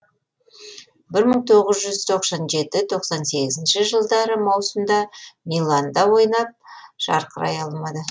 бір мың тоғыз жүз тоқсан жеті тоқсан сегізінші жылы маусымда миланда ойнап жарқырай алмады